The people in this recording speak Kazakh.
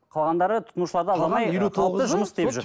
қалғандары тұтынушыларды